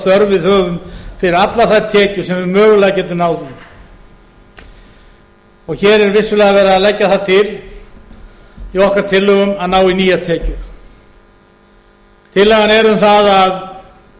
þörf við höfum fyrir allar þær tekjur sem við mögulega getum náð í hér er vissulega verið að leggja það til í okkar tillögum að ná í nýjar tekjur tillagan er um það að